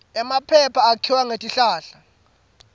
emaphepha akhiwa ngetihlahla